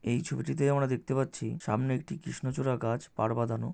এই ছবিটিতে আমরা দেখতে পাচ্ছি সামনে একটি কৃষ্ণচূড়া গাছ পার বাঁধানো --